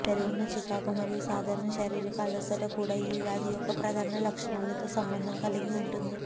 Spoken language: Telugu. పెరిగిన చికాకు మరియు సాధారణ శారీరక అలసట కూడా ఈ వ్యాధి యొక్క ప్రధాన లక్షణాలతో సంబంధం కలిగి ఉంటుంది